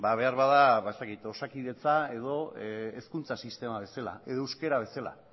ba beharbada osakidetza edo hezkuntza sistema bezala edo euskara bezala